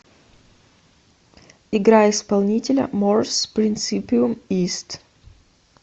играй исполнителя морс принсипиум ист